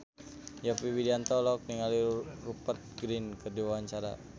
Yovie Widianto olohok ningali Rupert Grin keur diwawancara